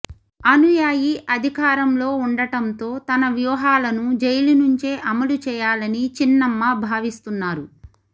అనుయాయి అధికారంలో ఉండటంతో తన వ్యూహాలను జైలు నుంచే అమలు చేయాలని చిన్నమ్మ భావిస్తున్నారు